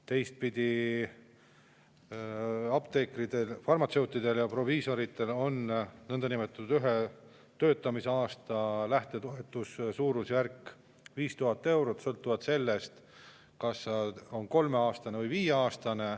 Teistpidi: apteekritel, farmatseutidel ja proviisoritel on nõndanimetatud ühe tööaasta lähtetoetuse suurusjärk 5000 eurot, sõltub sellest, kas on kolm või viis aastat.